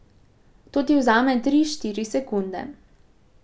To ti vzame tri, štiri sekunde.